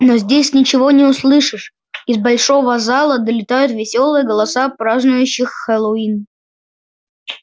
но здесь ничего не услышишь из большого зала долетают весёлые голоса празднующих хэллоуин